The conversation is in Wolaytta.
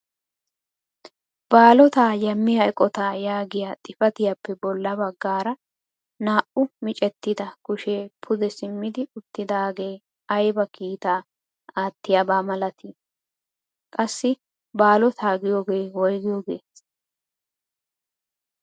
baalota yammiya eqqota yaagiya xifatiyaappe bolla baggara naa''u miccettida kushee pude simmid uttidaagee aybba kiita aattiyaba malaatii? qassi baalotaa giyooge woyggiyooge?